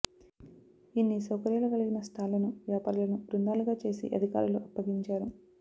ఇన్ని సౌకర్యాలు కలిగిన స్టాల్లను వ్యాపారులను బృందాలుగా చేసి అధికారులు అప్పగించారు